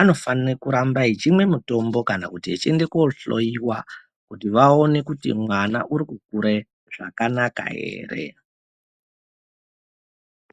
anofanire kuramba achimwe mitombo. Kana kuti tichiende kohloiwa kuti vaone kuti mwana uri kukure zvakanaka ere.